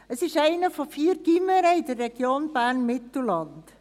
Es ist eines von vier Gymnasien in der Region Bern-Mittelland.